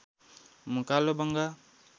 कालोबंगा